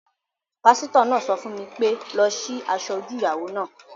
Pásítọ̀ náà sọ fún mi pé "lọ sí asọ-ojú ìyàwó náà!"